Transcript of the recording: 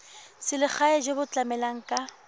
selegae jo bo tlamelang ka